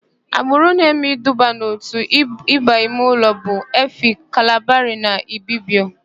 Agbụrụ na-eme iduba n'òtù Íbù imeụlọ bụ: Efik, Kalabarị na Ibibio.